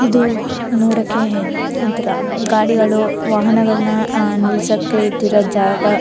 ಇದು ನೋಡಕ್ಕೆ ಒಂತರ ಗಾಡಿಗಳು ವಾಹನಗಳನ್ನಾ ಅಹ್ ನಿಲ್ಸಕ್ಕೆ ಇಟ್ಟಿರೋ ಜಾಗ .